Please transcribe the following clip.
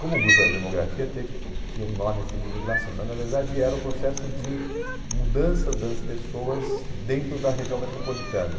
Como o grupo era de demografia, teve tinha um nome assim de migração, mas na verdade era o processo de mudança das pessoas dentro da região metropolitana.